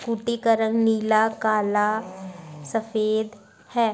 Scooty का रंग नीला काला सफ़ेद है।